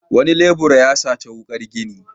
Wani lebura ya saci wuƙar gini.